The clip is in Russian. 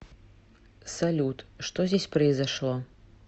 салют что здесь произошло